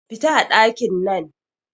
Fita a ɗakin nan